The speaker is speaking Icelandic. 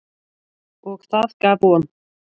Og það gaf von.